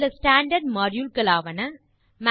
சில standard module களாவன